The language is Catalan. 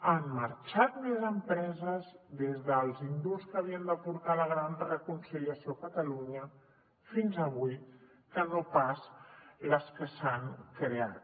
han marxat més empreses des dels indults que havien de portar la gran reconciliació a catalunya fins avui que no pas les que s’han creat